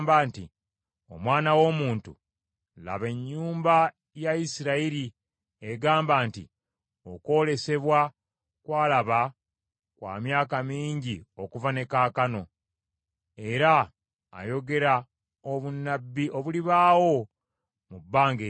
“Omwana w’omuntu, laba, ennyumba ya Isirayiri egamba nti, ‘Okwolesebwa kwalaba kw’amyaka mingi okuva ne kaakano, era ayogera obunnabbi obulibaawo mu bbanga ery’ewala.’